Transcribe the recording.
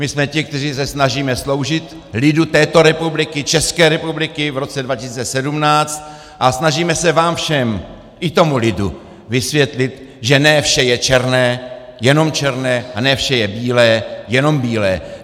My jsme ti, kteří se snažíme sloužit lidu této republiky, České republiky, v roce 2017 a snažíme se vám všem, i tomu lidu, vysvětlit, že ne vše je černé, jenom černé, a ne vše je bílé, jenom bílé.